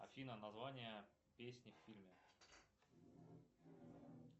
афина название песни в фильме